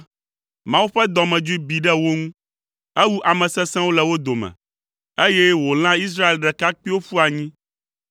Mawu ƒe dɔmedzoe bi ɖe wo ŋu; ewu ame sesẽwo le wo dome, eye wòlã Israel ɖekakpuiwo ƒu anyi.